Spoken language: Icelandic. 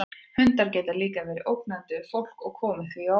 Hundar geta líka verið ógnandi við fólk og komið því á óvart.